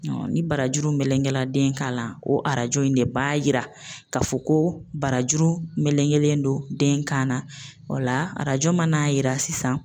Ni barajuru melenkera den kan na, o arajo in de b'a jira k'a fɔ ko barajuru melekeledon den kan na o la arajo mana yira sisan